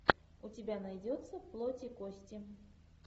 у тебя найдется плоть и кости